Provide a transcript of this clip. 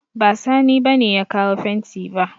Ba Sani ba ne ya kawo fenti ba